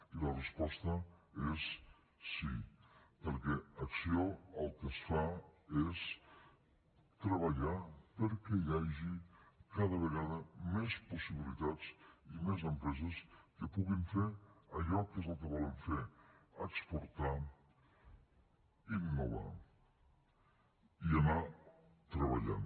i la resposta és sí perquè a acció el que es fa és treballar perquè hi hagi cada vegada més possibilitats i més empreses que puguin fer allò que és el que volen fer exportar innovar i anar treballant